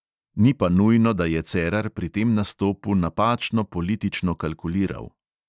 Ni pa nujno, da je cerar pri tem nastopu napačno politično kalkuliral.